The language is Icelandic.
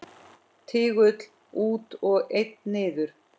Tígull út og einn niður.